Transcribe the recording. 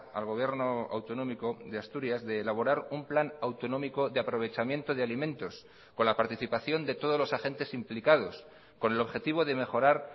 al gobierno autonómico de asturias de elaborar un plan autonómico de aprovechamiento de alimentos con la participación de todos los agentes implicados con el objetivo de mejorar